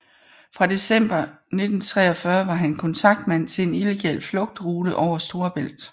Fra december 1943 var han kontaktmand til en illegal flugtrute over Storebælt